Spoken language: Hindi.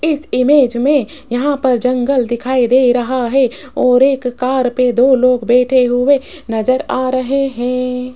इस इमेज में यहां पर जंगल दिखाई दे रहा है और एक कार पर दो लोग बैठे हुए नजर आ रहे हैं।